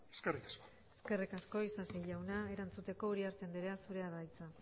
eskerrik asko eskerrik asko isasi jauna erantzuteko uriarte andrea zurea da hitza